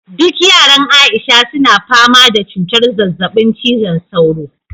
duk yaran aisha suna fama da cutar zazzabin cizon sauro